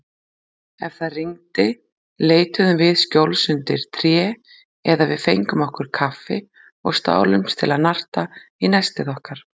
Ef það rigndi leituðum við skjóls undir tré eða við fengum okkur kaffi og stálumst til að narta í nestið okkar.